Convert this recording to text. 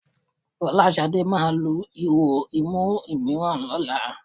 Fọláṣadé máa lu ihò imú mìíràn lọ́la